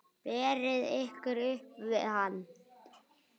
Berið ykkur upp við hann!